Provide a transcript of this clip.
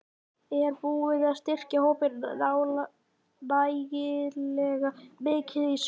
Er búið að styrkja hópinn nægilega mikið í sumar?